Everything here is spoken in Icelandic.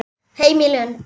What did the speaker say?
Heim í Lund.